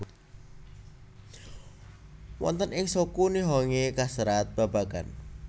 Wonten ing Shoku Nihongi kaserat babagan